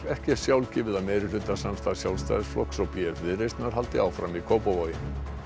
ekki er sjálfgefið að meirihlutasamstarf Sjálfstæðisflokks og b f Viðreisnar haldi áfram í Kópavogi